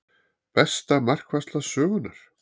Besta markvarsla sögunnar?